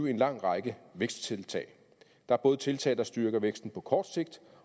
en lang række væksttiltag der er både tiltag der styrker væksten på kort sigt